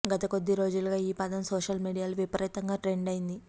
గత కొద్ది రోజులుగా ఈ పదం సోషల్ మీడియాలో విపరీతంగా ట్రెండ్ అయింది